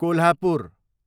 Kolhapur